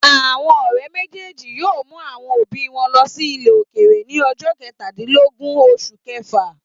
Àwọn ọ̀rẹ́ méjèèjì yóò mú àwọn òbí wọn lọ ilẹ̀ òkèèrè ní ọjọ́ kẹtàdínlógún oṣù kẹfà.